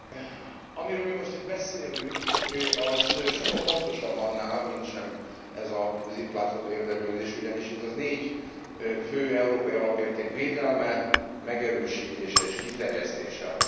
Amiről mi most itt beszélünk, az sokkal fontosabb annál, mintsem ez az itt látható érdeklődés, ugyanis itt a négy fő európai alapérték védelme, megerősítése és kiterjesztése a tét.